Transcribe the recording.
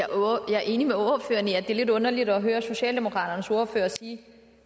er enig med ordføreren i at det er lidt underligt at høre socialdemokraternes ordfører sige at